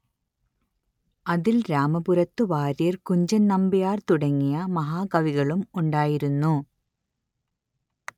അതിൽ രാമപുരത്തു വാര്യർ കുഞ്ചൻ നമ്പ്യാർ തുടങ്ങിയ മഹാകവികളും ഉണ്ടായിരുന്നു